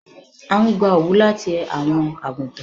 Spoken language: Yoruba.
À n gbà owú láti awọn agútàn